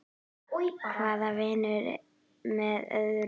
Hvað vinnur með öðru.